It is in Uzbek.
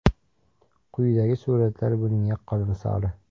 Quyidagi suratlar buning yaqqol misoli.